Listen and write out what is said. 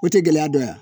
O tɛ gɛlɛya dɔ ye